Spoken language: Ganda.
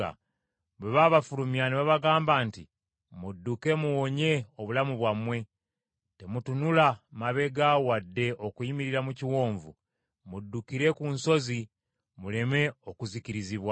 Bwe baabafulumya ne babagamba nti, “Mudduke muwonye obulamu bwammwe, temutunula mabega wadde okuyimirira mu kiwonvu; muddukire ku nsozi, muleme okuzikirizibwa.”